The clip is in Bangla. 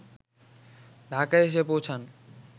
ঢাকায় এসে পৌঁছান